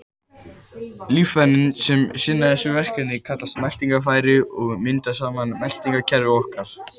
Líffærin sem sinna þessu verkefni kallast meltingarfæri og mynda saman meltingarkerfi okkar.